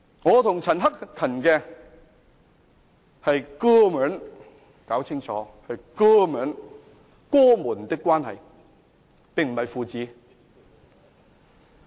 我和陳克勤議員是"哥兒們"，我們是哥兒們的關係，並非父子。